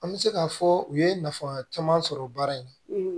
An bɛ se k'a fɔ u ye nafa caman sɔrɔ baara in na